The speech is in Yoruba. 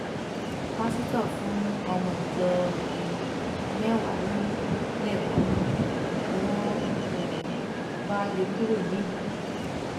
pásítọ fún ọmọ ìjọ um mẹwàá lóyún lẹẹkan náà ni wọn um bá lé e kúrò nílùú